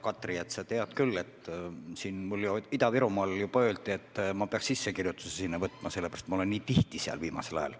Hea Katri, sa tead küll, et mulle Ida-Virumaal juba öeldi, et ma peaks end sinna sisse kirjutama, sellepärast et ma olen nii tihti viimasel ajal seal käinud.